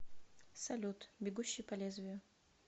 салют бегущий по лезвию